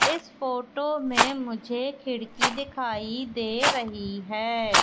इस फोटो में मुझे खिड़की दिखाई दे रही है।